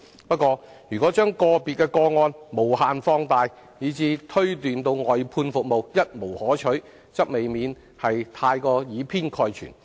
不過，如將個別個案無限放大，以致推斷外判服務一無可取，則未免過於以偏概全。